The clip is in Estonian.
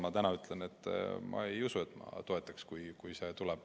Ma praegu ütlen, et ma ei usu, et ma seda toetaksin.